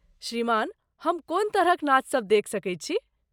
श्रीमान , हम कोन तरहक नाचसभ देखि सकैत छी?